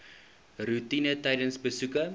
roetine tydens besoeke